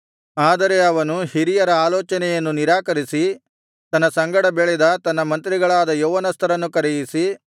ಆದರೆ ಅವನು ಹಿರಿಯರ ಆಲೋಚನೆಯನ್ನು ನಿರಾಕರಿಸಿ ತನ್ನ ಸಂಗಡ ಬೆಳೆದ ತನ್ನ ಮಂತ್ರಿಗಳಾದ ಯೌವನಸ್ಥರನ್ನು ಕರೆಯಿಸಿ